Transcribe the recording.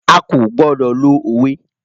À ko gbodo lo owe.